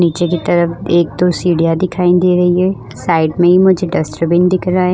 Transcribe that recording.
नीचे की तरफ एक दो सीढ़ियां दिखाई दे रही है साइड में ही मुझे डस्टरबिन दिख रहा है।